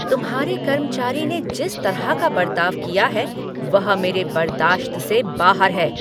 तुम्हारे कर्मचारी ने जिस तरह का बरताव किया है वह मेरे बर्दाश्त से बाहर है।